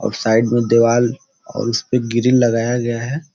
और साइड पे दीवाल और उसपे ग्रिल लगाया गया है।